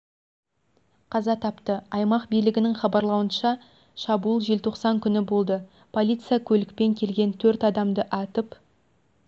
қаза тапты аймақ билігінің хабарлауынша шабуыл желтоқсан күні болды полиция көлікпен келген төрт адамды атып